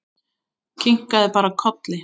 Kinkaði bara kolli.